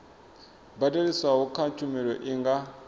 badeliswaho kha tshumelo i nga